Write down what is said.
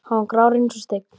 Hann var grár eins og steinn.